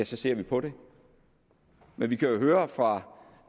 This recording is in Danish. så ser vi på det men vi kan jo høre fra